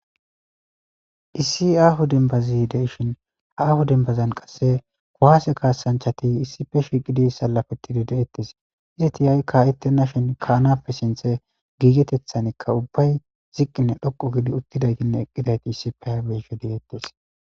issi aahu dembazideishin aahu dembazan qasse kuwaase kaasanchati issife shiqidi salafetidi de7ettis izi tiyay ka ittena shin kaanappe sinthe giigetethanikka ubbay ziqqinne dhoqu gidi uttidaytinne eqqidayti issipeabeshedeetis